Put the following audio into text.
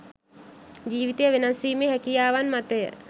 ජීවිතය වෙනස් ‍වීමේ හැකියාවන් මතය